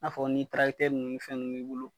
N'a fɔ ni ni fɛn nunnu b'i bolo.